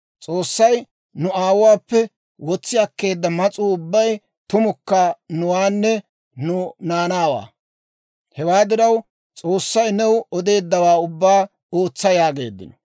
S'oossay nu aawuwaappe wotsi akkeedda mas'uu ubbay tumukka nuwaanne nu naanaawaa. Hewaa diraw s'oossay new odeeddawaa ubbaa ootsa» yaageeddino.